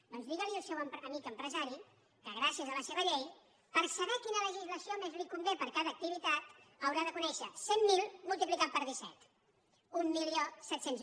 doncs digui li al seu amic empresari que gràcies a la seva llei per saber quina legislació més li convé per a cada activitat haurà de conèixer cent mil multiplicat per disset mil set cents